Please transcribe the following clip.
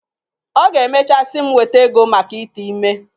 Ọ ga-emechaa sị m weta ego mak ite ime.